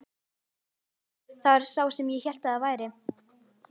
Jú, það var sá sem ég hélt að það væri!